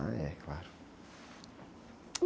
Ah, é, claro.